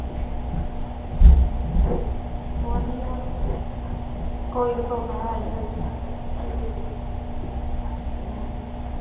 ਵਧੀਆ ਵਾ ਕੋਈ ਤੇ ਸੁਖ ਹੈ ਈ ਆ ਹੇਥੇ ਹਮ ਹਮ